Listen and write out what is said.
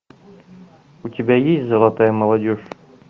у тебя есть золотая молодежь